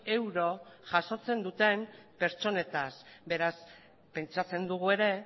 euro jasotzen duten pertsonetaz beraz pentsatzen dugu ere